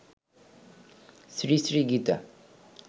Shri Shri Gita